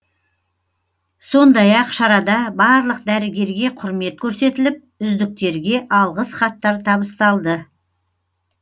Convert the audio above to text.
сондай ақ шарада барлық дәрігерге құрмет көрсетіліп үздіктерге алғыс хаттар табысталды